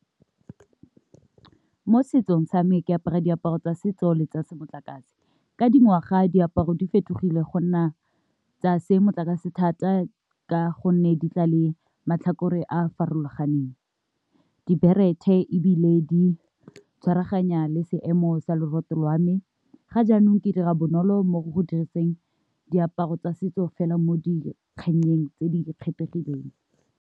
Mo setsong sa me ke apara diaparo tsa setso le tsa se motlakase , ka dingwaga a diaparo di fetogile go nna tsa se motlakase thata ka gonne di tla le matlhakore a a farologaneng, diborete ebile di tshwaraganya le seemo sa lwa me ga jaanong ke dira bonolo mo go diriseng diaparo tsa setso fela mo dikganyeng tse di kgethegileng.